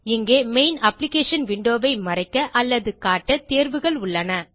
இங்கே main application window ஐ மறைக்க அல்லது காட்ட தேர்வுகள் உள்ளன